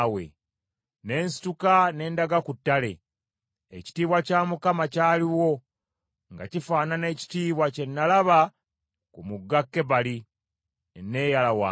Ne nsituka ne ndaga ku ttale. Ekitiibwa kya Mukama kyaliwo, nga kifaanana ekitiibwa kye nalaba ku Mugga Kebali; ne neeyala wansi.